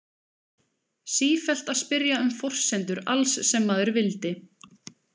Sífellt að spyrja um forsendur alls sem maður vildi.